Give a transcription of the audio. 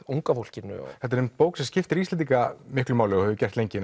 unga fólkinu þetta er bók sem skiptir Íslendinga miklu máli en